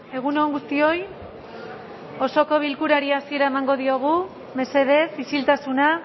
egun on guztioi osoko bilkurari hasiera emango diogu mesedez isiltasuna